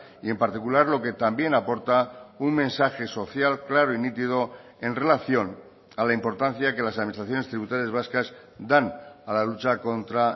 y en particular lo que también aporta un mensaje social claro y nítido en relación a la importancia que las administraciones tributarias vascas dan a la lucha contra